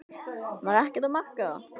Var ekkert að marka það?